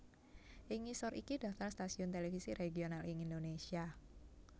Ing ngisor iki daftar stasiun televisi regional ing Indonésia